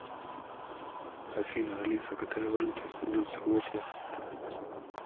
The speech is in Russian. афина алиса какая валюта используется в осло